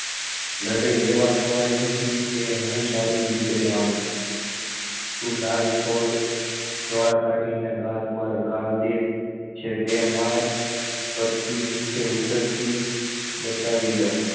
મને એવા નવાઈ નથી એ હું સારી રીતે જાણુ છુ તું લાલચોળ ડોળા કાઢી ને ગાલ પર ગાલ દે છે તે માર પર થી નીચે ઉતરતી બતાવી દઉં